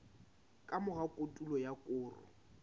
ka mora kotulo ya koro